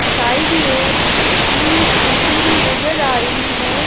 Side में तीन scooty भी नजर आ रही है।